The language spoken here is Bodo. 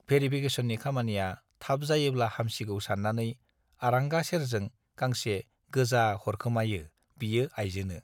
भेरिफिकेसननि खामानिया थाब जायोब्ला हामसिगौ सान्नानै आरांगा सेरजों गांसे गोजा हरखोमायो बियो आइजोनो।